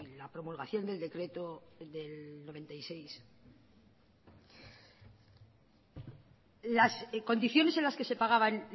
la promulgación del decreto del noventa y seis las condiciones en las que se pagaban